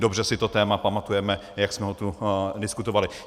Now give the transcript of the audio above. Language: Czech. Dobře si to téma pamatujeme, jak jsme ho tu diskutovali.